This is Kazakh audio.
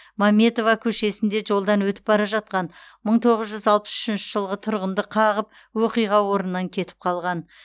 мәметова көшесінде жолдан өтіп бара жатқан мың тоғыз жүз алпыс үшінші жылғы тұрғынды қағып оқиға орнынан кетіп қалған